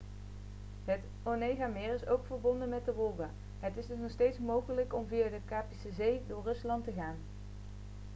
het onegameer is ook verbonden met de wolga het is dus nog steeds mogelijk om via de kaspische zee door rusland te gaan